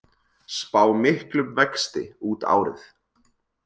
Spá miklum vexti út árið